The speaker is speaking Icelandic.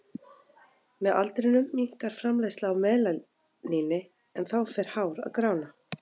Með aldrinum minnkar framleiðsla á melaníni en þá fer hár að grána.